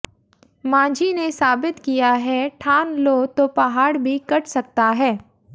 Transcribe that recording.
मांझी ने साबित किया है ठान लो तो पहाड़ भी कट सकता है